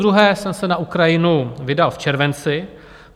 Podruhé jsem se na Ukrajinu vydal v červenci.